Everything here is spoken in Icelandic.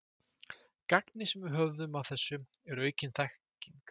Gagnið, sem við höfum af þessu, er aukin þekking.